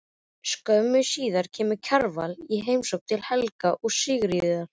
Skömmu síðar kemur Kjarval í heimsókn til Helga og Sigríðar.